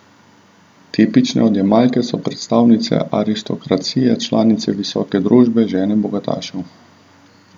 Tipične odjemalke so predstavnice aristokracije, članice visoke družbe, žene bogatašev.